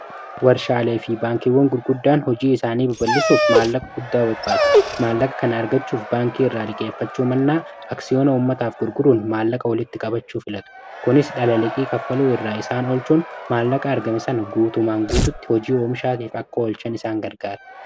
Warshaalee fi baankiiwwan gurguddaan hojii isaanii baballisuuf maallaqa guddaa barbaatu maallaqa kan argachuuf baankii irraa liqeeffachuu mannaa aksiyoona ummataaf gurguruun maallaqa walitti qabachuuf filatu kunis dhalaliqii kaffaluu irraa isaan olchuun maallaqa argamisan guutumaan guututti hojii oomishaatiif akka oolchan isaan gargaara.